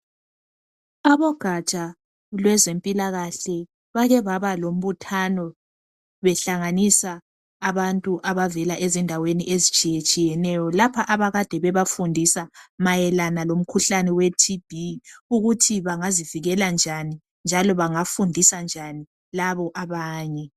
Abogaja lwezempilakahle bake baba lombuthano behlanganisa abantu abavela endaweni ezitshiyetshiyeneyo lapha abakade bebafundisa mayelana lomkhuhlne we 'TB' ukuthi bangazivikela njani njalo bangafundisa njani labo abanye.